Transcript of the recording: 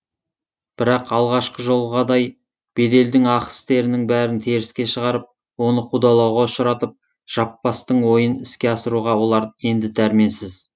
бірақ алғашқы жолғадай беделдің ақ істерінің бәрін теріске шығарып оны қудалауға ұшыратып жаппастың ойын іске асыруға олар енді дәрменсіз